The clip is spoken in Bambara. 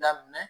Daminɛ